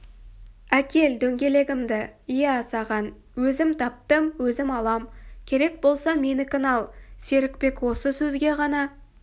әкел дөңгелегімді иә саған өзім таптым өзім алам керек болса менікін ал серікбек осы сөзге ғана